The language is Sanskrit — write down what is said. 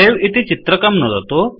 सवे इति चित्रकं नुदतु